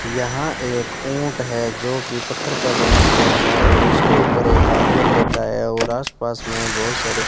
यहां एक ऊंट है जो कि पत्थर का बना हुआ है और उसके ऊपर एक आदमी बैठा है और आसपास में बहुत सारे --